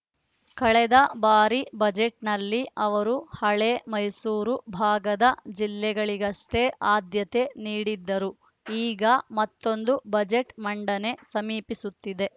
ಕಳೆದ ಬಾರಿ ಬಜೆಟ್‌ನಲ್ಲಿ ಅವರು ಹಳೆ ಮೈಸೂರು ಭಾಗದ ಜಿಲ್ಲೆಗಳಿಗಷ್ಟೇ ಆದ್ಯತೆ ನೀಡಿದ್ದರು ಈಗ ಮತ್ತೊಂದು ಬಜೆಟ್‌ ಮಂಡನೆ ಸಮೀಪಿಸುತ್ತಿದೆ